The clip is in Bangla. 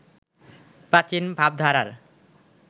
প্রাচীন ভাবধারার